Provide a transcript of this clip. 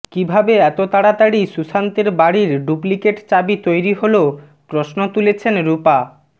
কীভাবে এত তাড়াতাড়ি সুশান্তের বাড়ির ডুপ্লিকেট চাবি তৈরি হল প্রশ্ন তুলেছেন রূপা